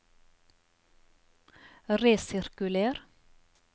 resirkuler